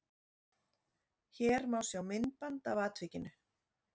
Hér má sjá myndband af atvikinu